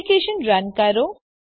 application run કરો